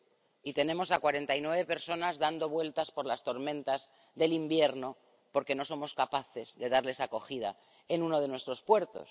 Y tenemos a cuarenta y nueve personas dando vueltas por las tormentas del invierno, porque no somos capaces de darles acogida en uno de nuestros puertos.